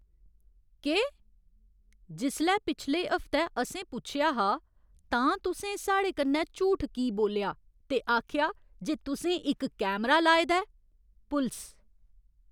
केह्? जिसलै पिछले हफ्तै असें पुच्छेआ हा तां तुसें साढ़े कन्नै झूठ की बोल्लेआ ते आखेआ जे तुसें इक कैमरा लाए दा ऐ? पुलस